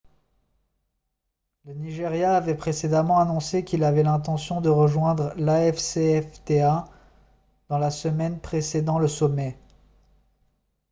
le nigeria avait précédemment annoncé qu'il avait l'intention de rejoindre l'afcfta dans la semaine précédant le sommet